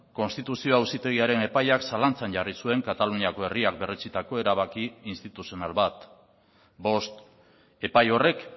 konstituzio auzitegiaren epaiak zalantzan jarri zuen kataluniako herriak berretsitako erabaki instituzional bat bost epai horrek